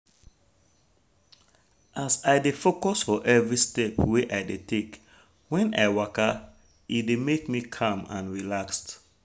as i dey focus for every step wey i dey take when i waka e dey make me calm and relaxed